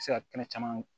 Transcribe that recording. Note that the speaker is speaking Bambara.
Se ka kɛnɛ caman